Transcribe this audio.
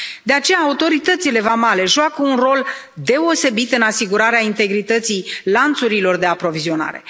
De aceea, autoritățile vamale joacă un rol deosebit în asigurarea integrității lanțurilor de aprovizionare.